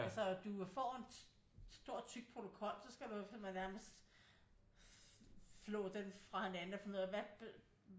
Altså du får en stor tyk protokol så skal du jo simpelthen nærmest flå den fra hinanden og finde ud af